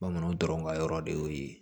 Bamananw dɔrɔn ka yɔrɔ de y'o ye